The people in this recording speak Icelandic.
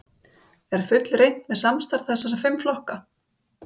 Gunnar Atli: Er fullreynt með samstarf þessara fimm flokka?